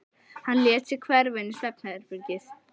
Hann lét sig hverfa inn í svefnherbergi.